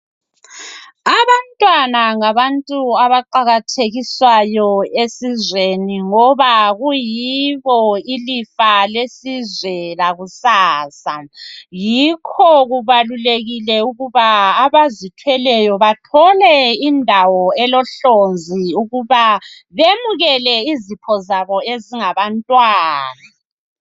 Abantwana ngabantu abaqakathekiswayo esizweni ngoba kuyibo ilifa lesizwe lakusasa yikho kungakho kuqakathekile ukuthi abazithweleyo bethole indawo ezilohlonzi ukuba bemukele izipho zabo ezingabantwana.